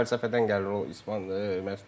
Yəni fəlsəfədən gəlir o İspan məşqçilər.